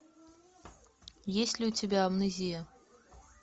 есть ли у тебя амнезия